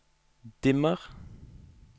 dimmer